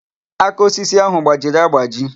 Aka osisi ahụ gbajiri agbaji.